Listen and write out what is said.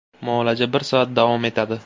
Muolaja bir soat davom etadi.